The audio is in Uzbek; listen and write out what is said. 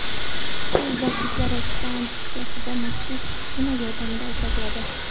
Suv va kislorod stansiyada maxsus uskuna yordamida ajratiladi.